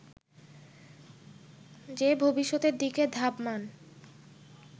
যে ভবিষ্যতের দিকে ধাবমান